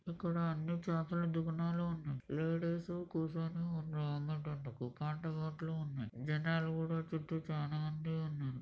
ఇక్కడ అన్ని చాపలు దుక్ణాలు ఉన్నాయి. లేడీస్ కూసోని ఉన్న అంగన్ టెంట్ కు కాంట గట్ల ఉన్నాయి. జనాలు కూడా చుట్టూ చాలామంది ఉన్నారు.